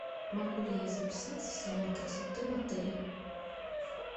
могу ли я записаться в салон красоты в отеле